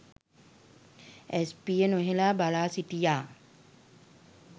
ඇස් පිය නොහෙළා බලා සිටියා.